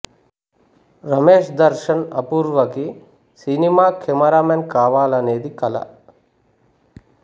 రమేష్ దర్శన్ అపూర్వ కి cinema cameraman కావాలనేది కల